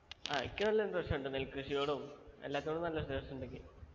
ആ എനിക്ക് നല്ല interest ഉണ്ട് നെൽകൃഷിയോടും എല്ലാത്തോടും നല്ല interest ഉണ്ട് എനിക്ക്